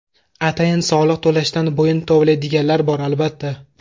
Atayin soliq to‘lashdan bo‘yin tovlaydiganlar bor, albatta.